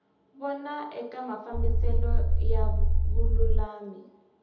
vona eka mafambiselo ya vululami